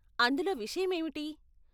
అందులో విషయం ఏమిటి?